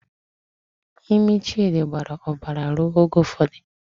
Imi Chidi gbara obara ruo oge ụfọdụ.